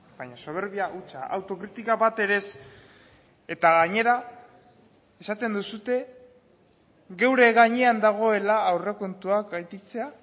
baina soberbia hutsa autokritika bat ere ez eta gainera esaten duzue geure gainean dagoela aurrekontuak gainditzea